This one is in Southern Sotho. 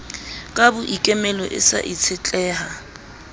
ka boikemelo e sa itshetleha